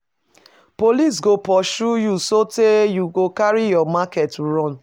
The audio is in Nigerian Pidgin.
Police go pursue you sotee you go carry your market run.